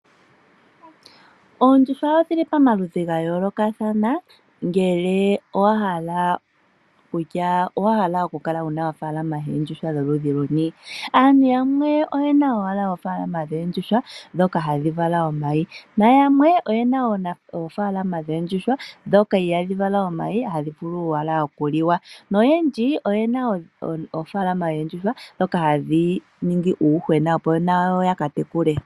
Oondjuhwa odhili pamaludhi ga yoolothana ngele owa hala kutya owahala oku kala wuna ofaalama yoondjuhwa dholuni luni. Aantu yamwe oyena owala ofaalama yoondjuhwa ndhoka hadhi vala omayi na yamwe oyena ofaalama yoondjuhwa ndhoka ihaadhi vala omayi hadhi vulu owala okuliwa. Noyendji oyena oofaalama dhoondjuhwa ndhoka hadhi ningi uuyuhwena opo nayo ya katekule.